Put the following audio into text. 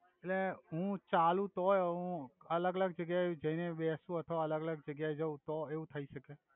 એટ્લે હુ ચાલુ તોય હુ અલ્ગ અલ્ગ જગ્યા એ અ જઈ ને બેસુ અથવા અલ્ગ અલ્ગ જગ્યા એ જવુ તો એવુ થઈ સકે